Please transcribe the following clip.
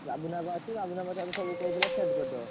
ରାଜୁନାଆପା ଅଛି ରାଜୁନାଆପା ଠାରୁ ସବୁ କହିଦେଲେ set କରିଦବ।